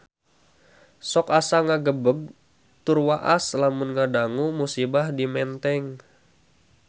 Sok asa ngagebeg tur waas lamun ngadangu musibah di Menteng